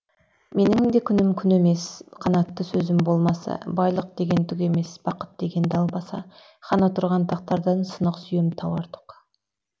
менің де күнім күн емес қанатты сөзім болмаса байлық деген түк емес бақыт деген далбаса хан отырған тақтардан сынық сүйем тау артық